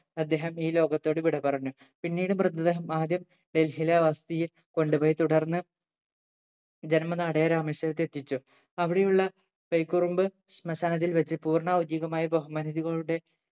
അദ്ദേഹം ഈ ലോകത്തോട് വിടപറഞ്ഞു പിന്നീട് മൃതദേഹം ആദ്യം ഡൽഹിയിലെ വസതിയിൽ കൊണ്ടുപോയി തുടർന്ന് ജന്മ നാടായ രാമേശ്വരത്ത് എത്തിച്ചു അവിടെയുള്ള തൈക്കുറുമ്പ് ശ്‌മശാനത്തിൽ വെച്ച് പൂർണ്ണ ഔദ്യോകികമായി ബഹുമാനുതികളുടെ